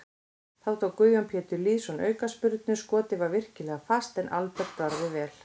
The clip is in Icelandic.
Þá tók Guðjón Pétur Lýðsson aukaspyrnu, skotið var virkilega fast en Albert varði vel.